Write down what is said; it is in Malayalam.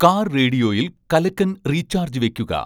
കാർ റേഡിയോയിൽ കലക്കൻ റീചാർജ് വെയ്ക്കുക